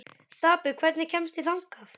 Stapi, hvernig kemst ég þangað?